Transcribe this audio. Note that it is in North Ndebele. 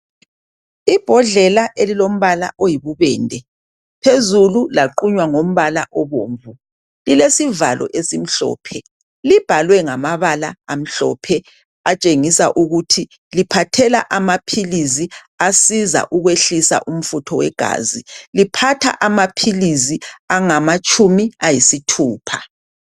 Ibhodlela elilombala oyibubende phezulu laqunywa ngombala obomvu, lilesivalo esimhlophe libhalwe ngamabala amhlophe atshengisa ukuthi liphathela amaphilisi asiza ukwehlisa umfutho wegazi. Liphatha amaphilisi angamatshumi ayisithupha.